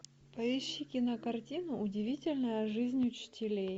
поищи кинокартину удивительная жизнь учителей